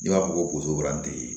I b'a fɔ ko